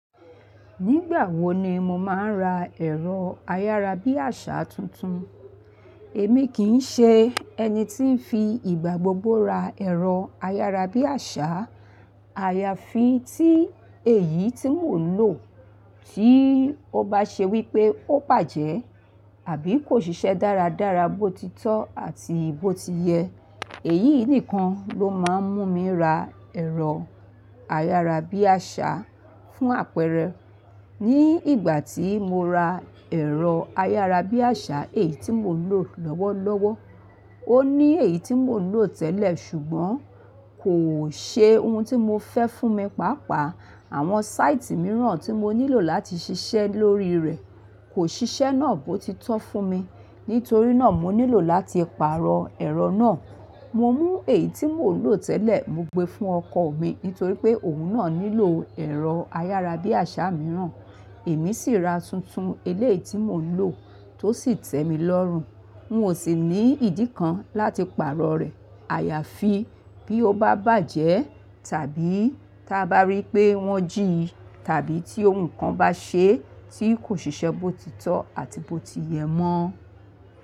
Nígbà wo ni mo máa ń ra ẹ̀rọ ayárabíàṣá tuntun. Èmi kì í ṣe ẹni tí ń fi ìgbà gbogbo ra ẹ̀rọ ayárabíàṣá. Àyàfi tí èyí tí mò ń lò tí ó bá ṣe wípé ó bàjẹ́ àbí kò ṣiṣẹ́ dáradára bó ti tọ́ àti bó ti yẹ. Èyí nìkan ló má ń mú mi ra ẹ̀rọ ayárabíàṣá fún àpẹẹrẹ. Ní ìgbà tí mo ra ẹ̀rọ ayárabíàṣá èyí tí mò ń lò lọ́wọ́lọ́wọ́. Ó ní èyí tí mò ń lò tẹ́lẹ̀ ṣùgbọ́n kò ṣe ohun tí mo fẹ́ fún mi pàápàá. Àwọn sáìtì mìíràn tí mo nílò láti ṣiṣẹ́ lórí rẹ̀ kò ṣiṣẹ́ náà bó ti tọ́ fún mi. Nítorí náà mo nílò láti pààrọ̀ ẹ̀rọ náà. Mo mú èyí tí mò ń lò tẹ́lẹ̀ mo gbé fún ọkọ mi nítorí pé òun náà nílò ẹ̀rọ ayárabíàṣá mìíràn. Èmi sì ra tuntun eléyìí tí mò ń lò tó sì tẹ́mi lọ́rùn. N ò sì ní ìdí kan láti pààrọ̀ rẹ̀. Àyàfi bí ó bá bàjẹ́ tàbí tí a bá rí pé wọ́n jí tàbí tí ohun kan bá ṣe tí kò ṣise bó ti tọ́ àti bó ti yẹ mọ́